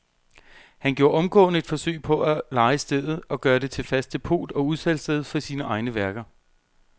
Han gjorde omgående et forsøg på at leje stedet og gøre det til fast depot og udsalgssted for sine egne værker.